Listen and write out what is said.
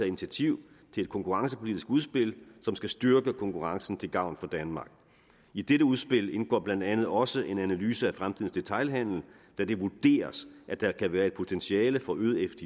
initiativ til et konkurrencepolitisk udspil som skal styrke konkurrencen til gavn for danmark i dette udspil indgår blandt andet også en analyse af fremtidens detailhandel da det vurderes at der kan være et potentiale for øget